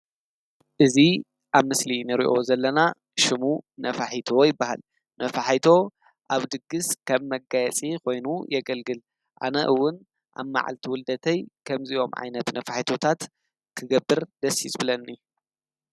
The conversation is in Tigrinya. እዚ ኣብ ምስሊ እንሪኦ ዘለና ሽሙ ነፋሒቶ ይበሃል። ነፋሒቶ ኣብ ድግስ ከም መጋየፂ ኮይኑ የገልግል። ኣነ እውን ኣብ መዓልቲ ውልደተይ ከምዚኦም ዓይነት ነፋሒቶ ታት ክገብር ደስ እዩ ዝብለኒ።